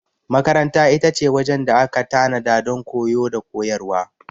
Makaranta ita ce wajen da aka tanada don koyo da koyarwa.